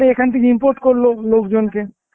এখান থেকে import করলো লোকজনকে,